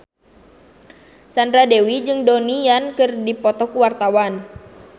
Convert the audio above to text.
Sandra Dewi jeung Donnie Yan keur dipoto ku wartawan